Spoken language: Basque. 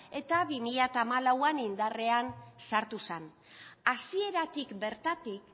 eta bi mila hamalauean indarrean sartu zen hasieratik bertatik